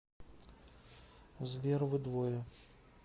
сбер вы двое